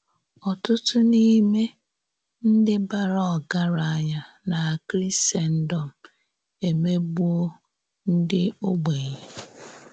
Ọ̀tụ̀tụ̀ n’ímè ǹdí bàrà ògáránya na Krìsèndọ̀m èmégbuò ǹdí ògbénye.